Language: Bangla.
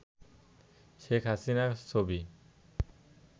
শেখ হাসিনার ছবি